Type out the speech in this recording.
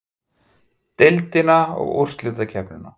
Deildina og úrslitakeppnina?